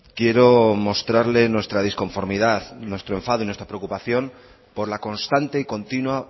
quiero mostrarle nuestra disconformidad nuestro enfado y nuestra preocupación por la constante y continua